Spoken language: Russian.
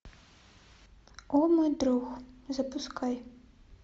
о мой друг запускай